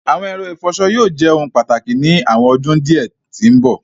Awọn ẹrọ-ifọṣọ yóò jẹ ohun pátákì ni awọn ọdún diẹ ti mbọ.